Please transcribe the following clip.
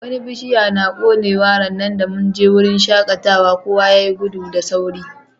Wani bishia na konewa ranan da mun je wurin shakatawan, kowa ya yi gudu da sauri.